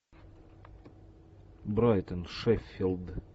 брайтон шеффилд